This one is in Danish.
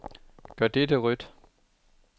Gør dette rødt.